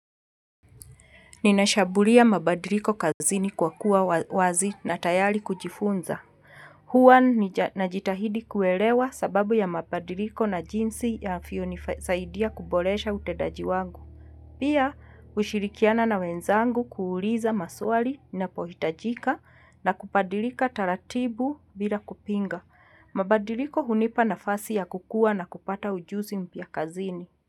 Ninashambulia mabadiliko kazini kwa kuwa wazi na tayari kujifunza. Hua najitahidi kuelewa sababu ya mabadiliko na jinsi ya fio nisaidia kubolesha utedaji wangu. Pia kushirikiana na wenzangu kuuliza maswali napohitajika na kupadilika taratibu bila kupinga. Mabadiliko hunipa nafasi ya kukua na kupata ujuzi mpya kazini.